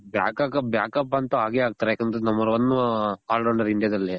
but back up ಅಂತು ಆಗೇ ಆಗ್ತಾರೆ ಯಾಕಂದ್ರೆ number one all rounder india ದಲ್ಲಿ